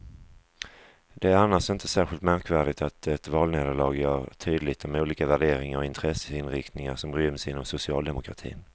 Det är annars inte särskilt märkvärdigt att ett valnederlag gör tydligt de olika värderingar och intresseinriktningar som ryms inom socialdemokratin.